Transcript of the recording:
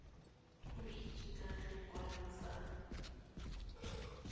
go itsise ka lekwalo fa